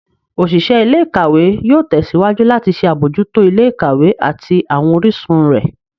Oṣiṣẹ ilé-ìkawe yóò tèsíwájú lati ṣe abojuto ilé-ìkawe ati awọn orisun rẹ.